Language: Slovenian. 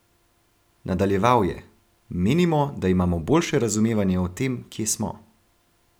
Nadaljeval je: "Menimo, da imamo boljše razumevanje o tem, kje smo.